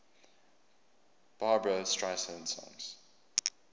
barbra streisand songs